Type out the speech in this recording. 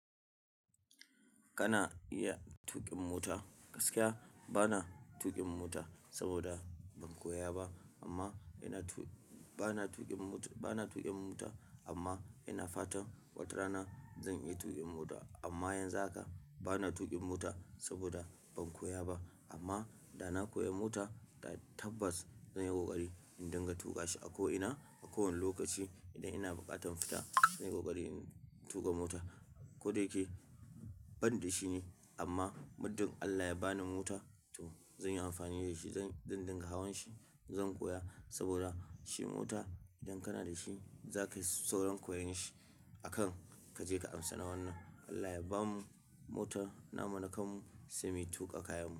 Kana iya tuƙin mota gaskiya bana tuƙin mota saboda ban koya ba amma yana tu bana tuƙin mota bana tuƙin mota amma ina fatan watarana zan iya tuƙin mota amma yanzu haka bana tuƙin mota saboda ban koya ba amma da na koya mota, da tabbas zan yi ƙoƙari in dinga tuƙa shi a ko ina a kowane lokaci idan ina buƙatar fita zan yi ƙoƙari in tuƙa mota. Ko da yake ban da shi ne amma muddin Allah ya ba ni mota, to zan yi amfani da shi zan zan dinga hawan shi zan koya saboda shi mota idan kana da shi za ka yi sauran koyon shi a kan ka je ka amsa na wannan. Allah ya bamu motar namu na kanmu sai mu tuƙa kayanmu.